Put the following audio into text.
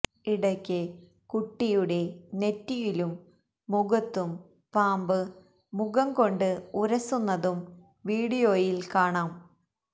ഇടയ്ക്ക് കുട്ടിയുടെ നെറ്റിയിലും മുഖത്തും പാമ്പ് മുഖം കൊണ്ട് ഉരസുന്നതും വീഡിയോയില് കാണാം